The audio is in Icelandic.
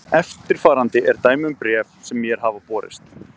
Eftirfarandi er dæmi um bréf sem mér hafa borist